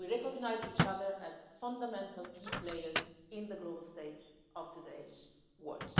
today. We recognise each other as fundamental key players on the global stage of today's